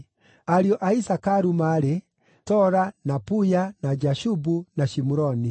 Ariũ a Isakaru maarĩ: Tola, na Puya, na Jashubu, na Shimuroni.